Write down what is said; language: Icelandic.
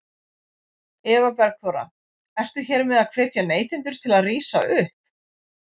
Eva Bergþóra: Ertu hér með að hvetja neytendur til að rísa upp?